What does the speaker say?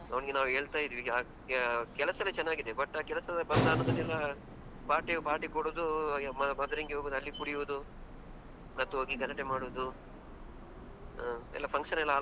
ಅವನಿಗೆ ನಾವು ಹೇಳ್ತಾ ಇದ್ದೀವಿ. ಕೆಲಸ ಎಲ್ಲಾ ಚೆನ್ನಾಗಿದೆ but ಆ ಕೆಲಸದ ಬಂದ ಹಣದಲ್ಲೆಲ್ಲಾ party party ಕೊಡುದು ಹಾಗೆ ಮಾದ್ರೆನ್ಗಿ ಹೋಗುದು ಅಲ್ಲಿ ಕುಡಿಯುದು ಮತ್ತೆ ಹೋಗಿ ಗಲಾಟೆ ಮಾಡುದು.